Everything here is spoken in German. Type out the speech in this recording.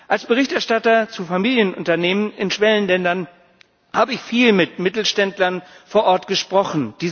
Als Berichterstatter zu Familienunternehmen in Schwellenländern habe ich viel mit Mittelständlern vor Ort gesprochen.